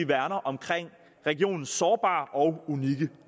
værner om regionens sårbare og unikke